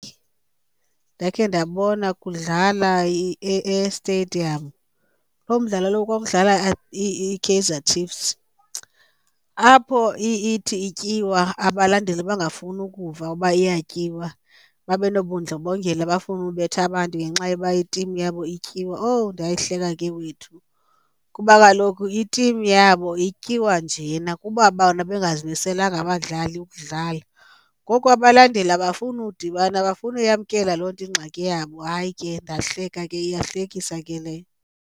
Ndakhe ndabona kudlala e-stadium lo mdlalo lowo kwakudlala iKaizer Chiefs apho ithi ityiwa abalandeli bangafuni ukuva uba iyatyiwa babe nobundlobongela bafune ubetha abantu ngenxa yoba itimu yabo ityiwa. Owu ndayihleka ke wethu, kuba kaloku itimu yabo ityiwa njena kuba bona bengazimiselanga abadlali ukudlala, ngoku abalandeli abafuni udibana abafuni uyamkela loo nto ingxaki yabo. Hayi ke ndahleka ke, iyahlekisa ke leyo.